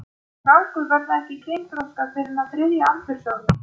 Krákur verða ekki kynþroska fyrr en á þriðja aldursári.